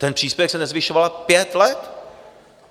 Ten příspěvek se nezvyšoval pět let!